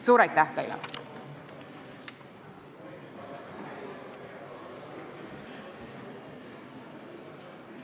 Suur aitäh teile!